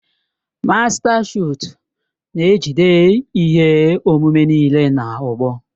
Mástá Shọọt na-ejide ihe omume niile na ogbo.